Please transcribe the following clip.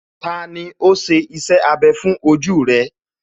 Tani ó ṣe iṣẹ́ abẹ fún ojú rẹ̀?